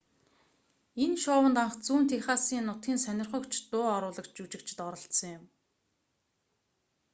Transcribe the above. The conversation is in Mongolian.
энэ шоунд анх зүүн техасын нутгийн сонирхогч дуу оруулагч жүжигчид оролцсон юм